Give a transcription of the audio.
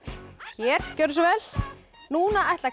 hér gjörðu svo vel núna ætla